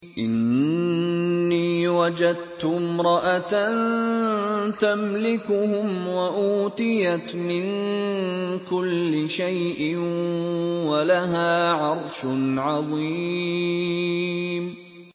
إِنِّي وَجَدتُّ امْرَأَةً تَمْلِكُهُمْ وَأُوتِيَتْ مِن كُلِّ شَيْءٍ وَلَهَا عَرْشٌ عَظِيمٌ